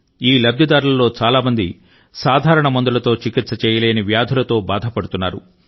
ఈ లబ్ధిదారులలో చాలా మంది సాధారణ మందులతో చికిత్స చేయలేని వ్యాధులతో బాధపడుతున్నారు